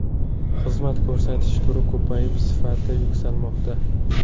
Xizmat ko‘rsatish turi ko‘payib, sifati yuksalmoqda.